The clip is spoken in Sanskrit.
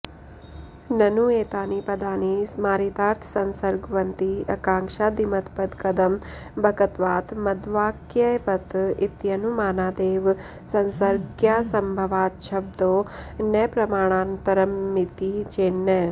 ननु एतानि पदानि स्मारितार्थसंसर्गवन्ति आकांक्षादिमत्पदकदम्बकत्वात् मद्वाक्यवत् इत्यनुमानादेव संसर्गज्ञासंभवाच्छब्दो न प्रमाणान्तरमिति चेन्न